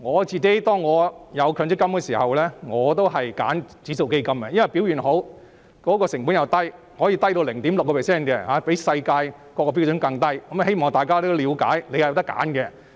在強積金設立後，我選擇了指數基金，因為一來表現好，而且成本低，可以低至 0.6%， 比世界標準更低，我希望大家了解是可以選擇的。